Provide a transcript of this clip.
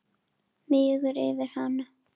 Mígur yfir hana.